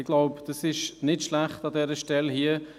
Ich glaube, das ist nicht schlecht an dieser Stelle hier.